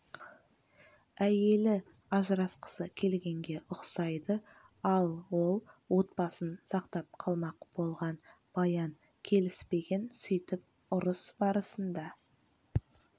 әйелі ажырасқысы келгенге ұқсайды ал ол отбасын сақтап қалмақ болған баян келіспеген сөйтіп ұрыс барысында